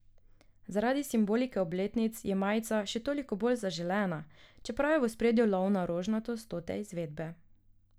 Zaradi simbolike obletnic je majica še toliko bolj zaželena, čeprav je v ospredju lov na rožnato stote izvedbe.